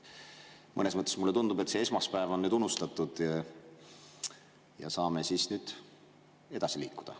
Mõnes mõttes mulle tundub, et see esmaspäev on nüüd unustatud ja saame edasi liikuda.